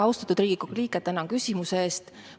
Austatud Riigikogu liige, tänan küsimuse eest!